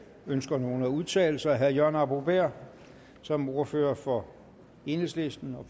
ønsker nogen at udtale sig herre jørgen arbo bæhr som ordfører for enhedslisten og